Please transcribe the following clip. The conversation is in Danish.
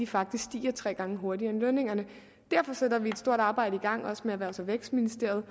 faktisk tre gange hurtigere end lønningerne derfor sætter vi et stort arbejde i gang også sammen med erhvervs og vækstministeriet